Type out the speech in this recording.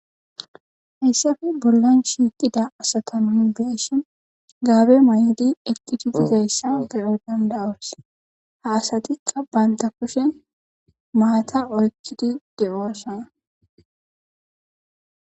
hayssafe bollan shiiqida asataman beeshin gaabe may7odi eqtitidizayssa ge7e danda us ha asatikka baynta kushen maata oykkidi deoosha